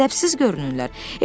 Ədəbsiz görünürlər.